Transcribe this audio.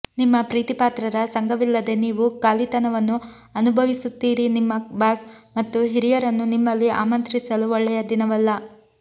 ನಿಮ್ಮ ಪ್ರೀತಿಪಾತ್ರರ ಸಂಗವಿಲ್ಲದೇ ನೀವು ಖಾಲಿತನವನ್ನು ಅನುಭವಿಸುತ್ತೀರಿ ನಿಮ್ಮ ಬಾಸ್ ಮತ್ತುಹಿರಿಯರನ್ನು ನಿಮ್ಮಲ್ಲಿ ಆಮಂತ್ರಿಸಲು ಒಳ್ಳೆಯ ದಿನವಲ್ಲ